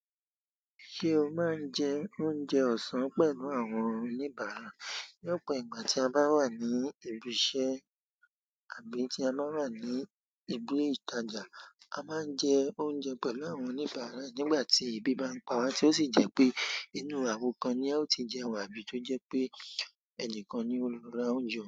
Ṣé o máa ń jẹ oúnjẹ ọ̀sán pẹ̀lú àwọn oníbàárà? Ní ọ̀pọ̀ ìgbà tí a bá wà ní ibi iṣẹ́ àbí tí a bá wà ní ibùdó ìtajà, a máa ń jẹ oúnjẹ pẹ̀lú àwọn oníbàárà. Nígbà tí èébì bá ń pa wa tí ó sì jẹ́ pé inú àwọ kan ni ẹ ó ti jẹun àbí tó jẹ́ pé ẹnìkan ni ó lọ ra oúnjẹ.